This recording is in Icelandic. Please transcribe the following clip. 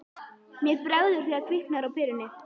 Mér bregður þegar kviknar á perunni